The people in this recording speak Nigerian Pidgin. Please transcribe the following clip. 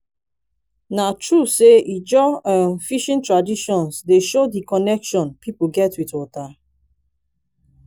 na true sey ijaw um fishing traditions dey show di connection pipo get wit water?